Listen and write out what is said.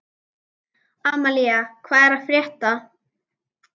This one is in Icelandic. Amalía, hvað er að frétta?